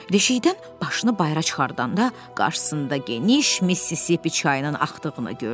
Deşikdən başını bayıra çıxardanda qarşısında geniş Missisipi çayının axdığını gördü.